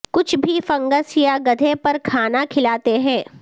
کچھ بھی فنگس یا گدھے پر کھانا کھلاتے ہیں